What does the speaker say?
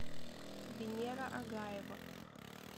венера агаева